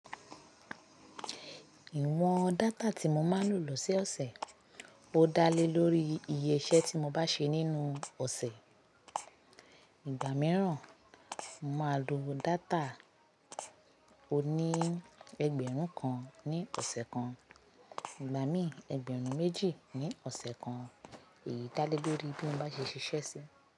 Ìwọ̀n data tí mo máa ń lò losoose ó dá lé lórí iye iṣẹ́ tí mo bá ṣe nínú ọ̀ṣẹ̀. Ìgbà mìíràn, mo máa lo data oní ẹgbẹ̀rún kan ní ọ̀ṣẹ̀ kan, ìgbà míì ẹgbẹ̀rún méjì ní ọ̀ṣẹ̀ kan. Èyí dá lé lórí bí mo bá ṣe ṣiṣẹ́ sí.